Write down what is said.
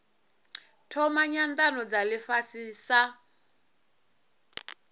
thoma nyanano dza ifhasi sa